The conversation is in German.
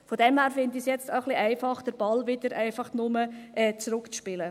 Insofern finde ich es jetzt etwas einfach, den Ball wieder zurückzuspielen.